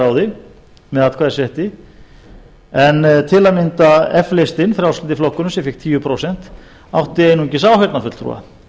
ráði með atkvæðisrétti en til að mynda eflist frjálslyndi flokkurinn sem fékk tíu prósent átti einungis áheyrnarfulltrúa